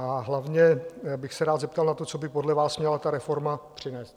A hlavně bych se rád zeptal na to, co by podle vás měla ta reforma přinést.